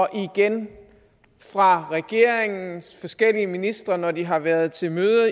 og igen fra regeringens forskellige ministre når de har været til møder